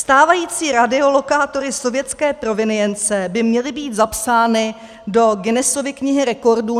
Stávající radiolokátory sovětské provenience by měly být zapsány do Guinessovy knihy rekordů.